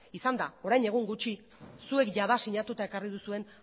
izan da orain egun gutxi zuek jada sinatuta ekarri duzuen